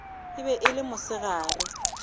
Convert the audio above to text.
e be e le mosegare